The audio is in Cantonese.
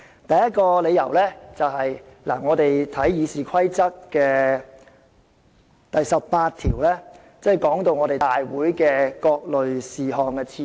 第一個理由是關乎《議事規則》第18條的，該條訂明立法會會議各類事項的次序。